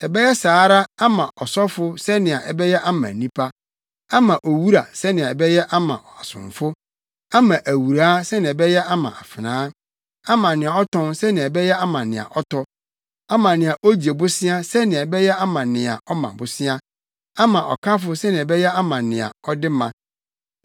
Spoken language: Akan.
ɛbɛyɛ saa ara ama ɔsɔfo sɛnea ɛbɛyɛ ama nnipa, ama owura sɛnea ɛbɛyɛ ama asomfo, ama awuraa sɛnea ɛbɛyɛ ama afenaa, ama nea ɔtɔn sɛnea ɛbɛyɛ ama nea ɔtɔ, ama nea ogye bosea sɛnea ɛbɛyɛ ama nea ɔma bosea, ama ɔkafo sɛnea ɛbɛyɛ ama nea ɔde ma.